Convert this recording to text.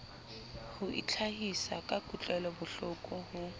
ho itlhahisa ka kutlwelobohloko ho